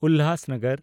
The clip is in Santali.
ᱩᱞᱦᱟᱥᱱᱚᱜᱚᱨ